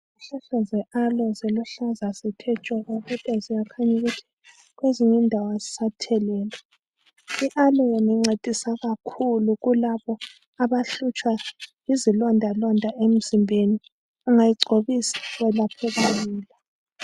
Izihlahla ze"Aloe" ziluhlaza zithe tshoko kodwa ziyakhanya ukuthi kwezinye indawo azisathelelwa.I"Aloe" uona incedisa kakhulu kulabo abahlutshwa yizilonda londa emzimbeni. Ungayigcobisa welapheka lula.